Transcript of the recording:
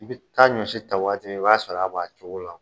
I bɛ taa ɲɔsi ta waati min i b'a sɔrɔ a b'a cogo la!